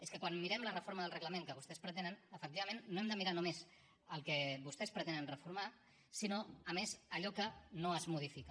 és que quan mirem la reforma del reglament que vostès pretenen efectivament no hem de mirar només el que vostès pretenen reformar sinó a més allò que no es modifica